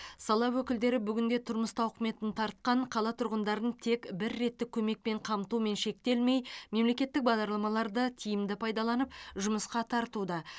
сала өкілдері бүгінде тұрмыс тауқыметін тартқан қала тұрғындарын тек бір реттік көмекпен қамтумен шектелмей мемлекеттік бағдарламаларды тиімді пайдаланып жұмысқа тартуда